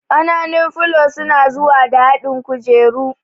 Ƙananun filo suna zuwa da haɗin kujeru